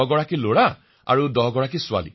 ১০ জন লৰা আৰু ১০ গৰাকী ছোৱালী